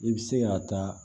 I bɛ se ka taa